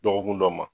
Dɔgɔkun dɔ ma